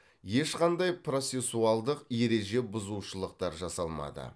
ешқандай процессуалдық ереже бұзушылықтар жасалмады